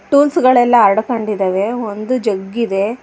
Tools ಗಳೆಲ್ಲ ಹರಡಿಕೊಂಡಿದಾವೆ ಒಂದು ಜಗ್ ಇದೆ.